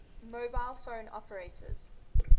mobile phone operators